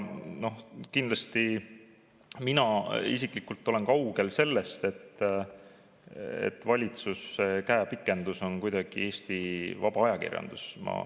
Mina isiklikult olen kaugel sellest, et Eesti vaba ajakirjandus on kuidagi valitsuse käepikendus.